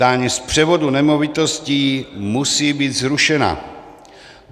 Daň z převodu nemovitostí musí být zrušena.